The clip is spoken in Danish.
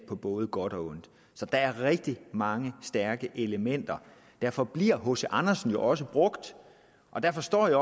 på både godt og ondt så der er rigtig mange stærke elementer derfor bliver hc andersen jo også brugt og derfor står jeg